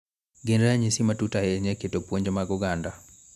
Gin ranyisi matut ahinya e keto puonj mag oganda